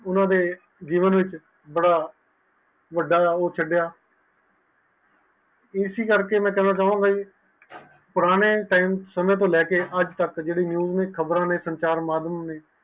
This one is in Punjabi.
ਊਨਾ ਦੇ ਜੀਵਨ ਵਿਚ ਥੋੜਾ ਵੱਡਾ ਇਸੀ ਕਰਕੇ ਮੈਂ ਕਾਵ ਗਏ ਪਾਈ ਪੁਰਾਣੇ ਸਮੇਂ ਤੋਂ ਲਾਇ ਕੇ ਅਜੇ ਤਕ ਚੀਜ਼ ਨੈ ਖ਼ਬਰ ਨੈ